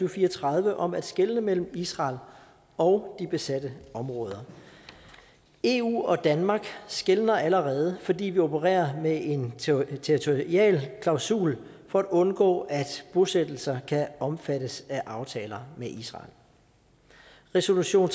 og fire og tredive om at skelne mellem israel og de besatte områder eu og danmark skelner allerede fordi vi opererer med en territorial klausul for at undgå at bosættelser kan omfattes af aftaler med israel resolution